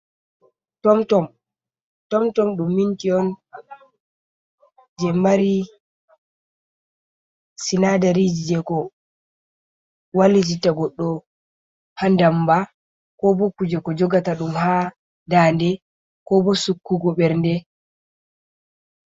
Tom tom, Tom tom ɗum minti on je mari sinadari je ko walitita goɗɗo ha ndamba ko bo kuje ko jogata ɗum ha daande ko bo sukkugo ɓernde.